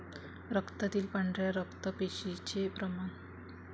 रक्तातील पांढऱ्या रक्त पेशींचे प्रमाण.